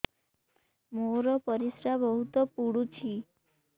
ମୋର ପରିସ୍ରା ବହୁତ ପୁଡୁଚି